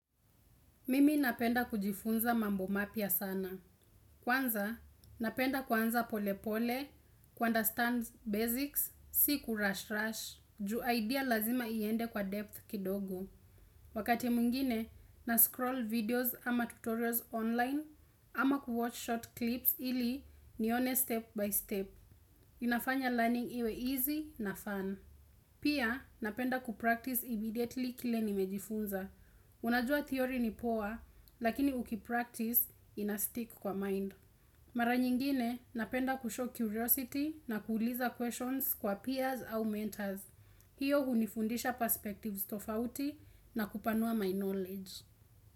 Mimi napenda kujifunza mambo mapya sana. Kwanza, napenda kuanza pole pole, ku understand basics, si ku rush rush, ju idea lazima iende kwa depth kidogo. Wakati mwingine, na scroll videos ama tutorials online, ama ku watch short clips ili nione step by step. Inafanya learning iwe easy na fun. Pia, napenda kupractice immediately kile nimejifunza. Unajua theory ni poa, lakini uki practice ina stick kwa mind. Mara nyingine napenda kushow curiosity na kuuliza questions kwa peers au mentors. Hiyo hunifundisha perspectives tofauti na kupanua my knowledge.